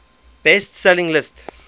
best selling list